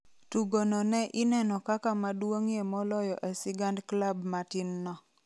Tugono ne ineno kaka maduong’ie moloyo e sigand klab matinno.